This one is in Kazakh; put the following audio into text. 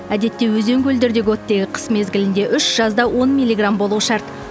әдетте өзен көлдердегі оттегі қыс мезгілінде үш жазда он миллиграмм болуы шарт